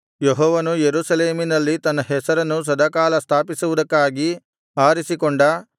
ಯೆಹೋವನು ಯೆರೂಸಲೇಮಿನಲ್ಲಿ ತನ್ನ ಹೆಸರನ್ನು ಸದಾಕಾಲ ಸ್ಥಾಪಿಸುವುದಕ್ಕಾಗಿ ಆರಿಸಿಕೊಂಡ